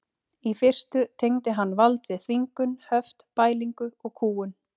Í fyrstu tengdi hann vald við þvingun, höft, bælingu og kúgun.